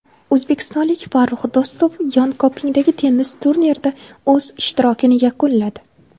O‘zbekistonlik Farrux Do‘stov Yonkopingdagi tennis turnirida o‘z ishtirokini yakunladi.